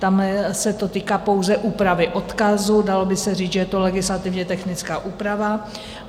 Tam se to týká pouze úpravy odkazu, dalo by se říct, že je to legislativně technická úprava.